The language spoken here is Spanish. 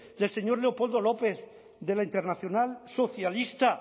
del señor leopoldo lópez de la internacional socialista